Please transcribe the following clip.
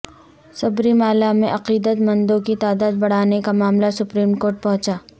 سبری مالا میں عقیدت مندوں کی تعداد بڑھانے کا معاملہ سپریم کورٹ پہنچا